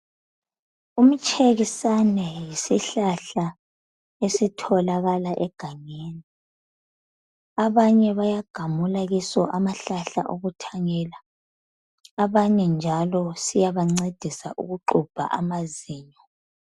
Umtshekisane yisihlahla esitholakala egangeni. abanye bayagamula kiso amahlahla okuthanyela abanye njalo siyabancedisa ukuxubha amazinyo.